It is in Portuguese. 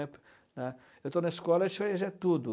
né, né. Eu estou na escola, a tudo.